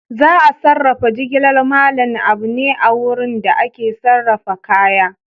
Za a sarrafa jigilar Mallam Abu ne a wurin da ake sarrafa kaya.